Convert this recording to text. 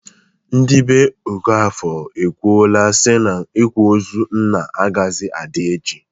Ndị be Okafọr ekwuola si na ikwa ozu nna agaghịzi adị echi.